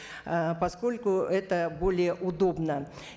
ыыы поскольку это более удобно